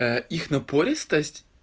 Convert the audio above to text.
их напористость